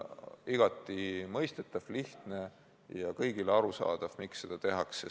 Igati mõistetav, lihtne ja kõigile arusaadav, miks seda tehakse.